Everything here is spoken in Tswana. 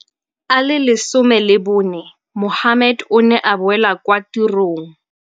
A le 14, Mohammed o ne a boela kwa tirong.